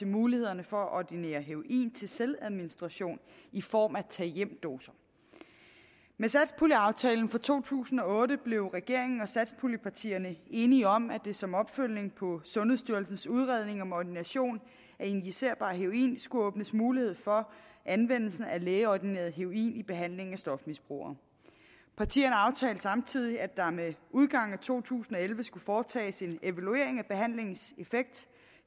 mulighederne for at ordinere heroin til selvadministration i form af tag hjem doser med satspuljeaftalen for to tusind og otte blev regeringen og satspuljepartierne enige om at der som opfølgning på sundhedsstyrelsens udredning af ordination af injicerbar heroin skulle åbnes mulighed for anvendelse af lægeordineret heroin i behandlingen af stofmisbrugere partierne aftalte samtidig at der med udgangen af to tusind og elleve skulle foretages en evaluering af behandlingens effekt